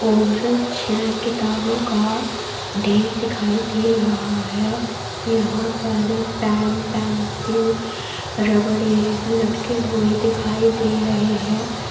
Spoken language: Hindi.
और छह किताबों का ढेर दिखाई दे रहा है यहां पर पेन पेंसिल रबर लटके हुए दिखाई दे रहे हैं।